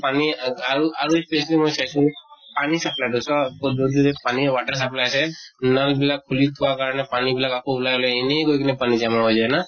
পানী আ আৰু আৰু specially মই চাইছো পানী supply টো পানীৰ water supply আছে। নল নিলাক খুলি থোৱাৰ কাৰণে পানী বিলাক আকৌ ওলাই ওলাই এনে গৈ কিনে পানী জমা হৈ যায় ন?